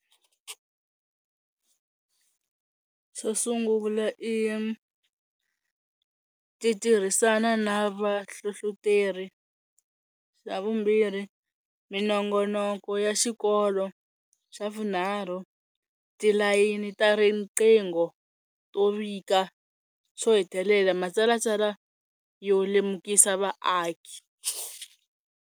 Swo sungula i ti tirhisana na vahlohloteri, xa vumbirhi minongonoko ya xikolo, xa vunharhu tilayini ta riqingho to vika, swo hetelela ma tsalatsala yo lemukisa vaaki.